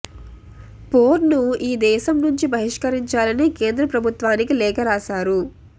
పోర్న్ను ఈ దేశం నుంచి బహిష్కరించాలని కేంద్ర ప్రభుత్వానికి లేఖ రాశారు